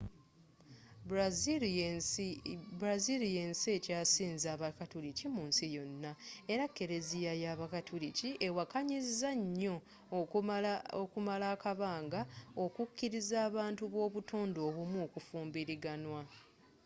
brazil yensi ekyasinze abakatuliki mu nsi yona era keleziya y'abakatuliki ewakanyiza nyo okumala ebbanga okukiliza abantu b'obutonde obumu okufumbiraganwa